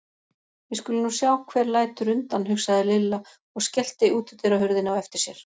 Við skulum nú sjá hver lætur undan, hugsaði Lilla og skellti útidyrahurðinni á eftir sér.